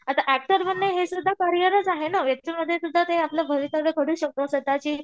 आता ऍक्टर बनणं हे सुद्धा करिअरचं आहे ना मध्ये सुद्धा ते आपलं भवितव्य करू शकतो स्वतःची